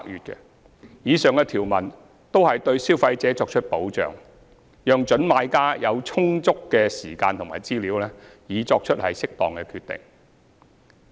以上條文均對消費者作出保障，讓準買家有充足的時間及資料作出適當決定。